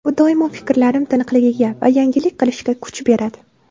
Bu doimo fikrlarim tiniqligiga va yangilik qilishga kuch beradi”.